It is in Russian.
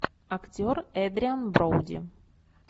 актер эдриан броуди